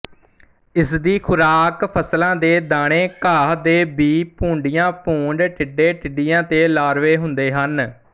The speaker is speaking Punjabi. ਇਸਦੀ ਖ਼ੁਰਾਕ ਫ਼ਸਲਾਂ ਦੇ ਦਾਣੇ ਘਾਹ ਦੇ ਬੀਅ ਭੂੰਡੀਆਂ ਭੂੰਡ ਟਿੱਡੇਟਿੱਡੀਆਂ ਤੇ ਲਾਰਵੇ ਹੁੰਦੇ ਹਨ